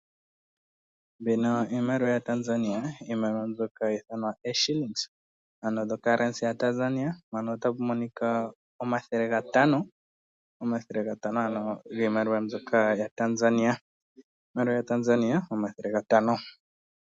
Mbino iimaliwa yaTanzania. Anno iimaliwa mbika hayi thanwa shilingi, ano dho currency yaNamibia. Mpano otapu monika omathele ga tano, omathele gatano ano giumaliwa mbyoka yaTanzania. Iimaliwa yaTanzania omathele gatano.